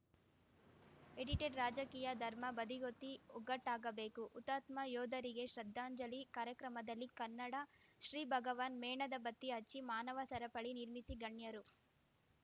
edited ರಾಜಕೀಯ ಧರ್ಮ ಬದಿಗೊತ್ತಿ ಒಗ್ಗಟ್ಟಾಗಬೇಕು ಹುತಾತ್ಮ ಯೋಧರಿಗೆ ಶ್ರದ್ಧಾಂಜಲಿ ಕಾರ್ಯಕ್ರಮದಲ್ಲಿ ಕನ್ನಡಶ್ರೀ ಭಗವಾನ್‌ ಮೇಣದ ಬತ್ತಿ ಹಚ್ಚಿ ಮಾನವ ಸರಪಳಿ ನಿರ್ಮಿಸಿ ಗಣ್ಯರು